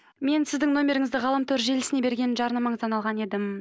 мен сіздің номеріңізді ғаламтор желісіне берген жарнамаңыздан алған едім